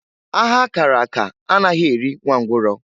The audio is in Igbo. Agha a kara aka anaghị erị nwa ngwụrọ.